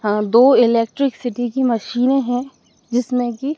अह दो इलेक्ट्रिसिटी की मशीनें हैं जिसमें कि--